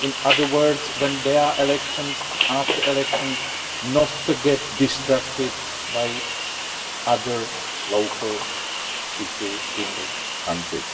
In other words, when there are elections and after elections, they should not be distracted by other local issues in the country.